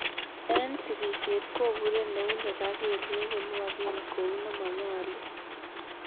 En sikisiet kopure neunek ak Kelyek konwoken kou ne monyolu.